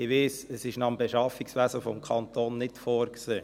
Ich weiss, es ist gemäss Beschaffungswesen des Kantons nicht vorgesehen.